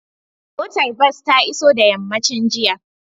Motar bas ta iso da yammacin jiya